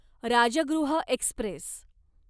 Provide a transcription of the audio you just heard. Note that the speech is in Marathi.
राजगृह एक्स्प्रेस